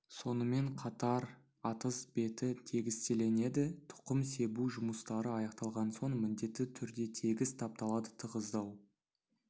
сонымен қатар атыз беті тегістелінеді тұқым себу жұмыстары аяқталған соң міндетті түрде тегіс тапталады тығыздау